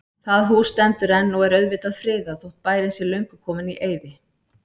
Það hús stendur enn og er auðvitað friðað, þótt bærinn sé löngu kominn í eyði.